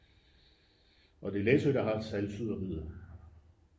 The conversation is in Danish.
og det er læsø der har saltsyderiet